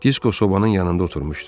Disko sobanın yanında oturmuşdu.